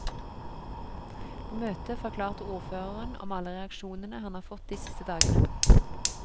På møtet forklarte ordføreren om alle reaksjonene han har fått de siste dagene.